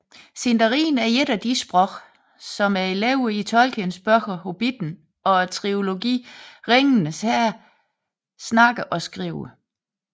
Sindarin er et af de sprog som elverne i Tolkiens bøger Hobitten og trilogien Ringenes Herre taler og skriver